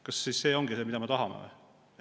Kas see ongi see, mida me tahame?